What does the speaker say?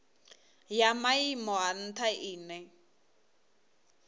ya maimo a ntha ine